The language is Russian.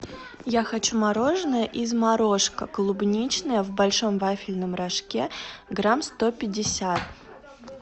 я хочу мороженое из морошка клубничное в большом вафельном рожке грамм сто пятьдесят